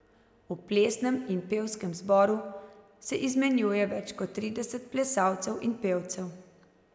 V plesnem in pevskem zboru se izmenjuje več kot trideset plesalcev in pevcev.